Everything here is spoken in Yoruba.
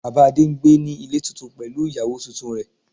Bàbá Adé n gbé ní Ilé tuntun pẹ̀lú ìyàwó tuntun rẹ̀